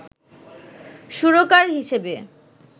সুরকার হিসেবে